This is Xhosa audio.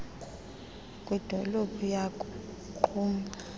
kwidolophu yaku qumbu